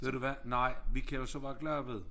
Ved du hvad nej vi kan jo så være glade ved